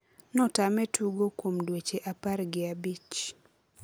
notame tugo kuom dueche apar gi abich.